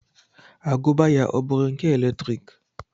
Agụba ya ọ bụụrụ nke eletrik?